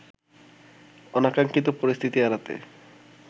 অনাকাঙ্খিত পরিস্থিতি এড়াতে